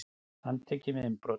Handtekinn við innbrot